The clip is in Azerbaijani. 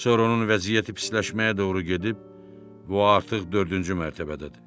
Sonra onun vəziyyəti pisləşməyə doğru gedib və o artıq dördüncü mərtəbədədir.